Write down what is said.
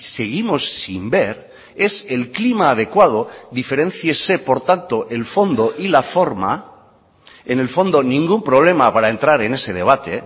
seguimos sin ver es el clima adecuado diferénciese por tanto el fondo y la forma en el fondo ningún problema para entrar en ese debate